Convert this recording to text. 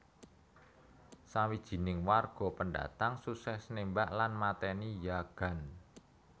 Sawijining warga pendatang sukses nembak lan mateni yagan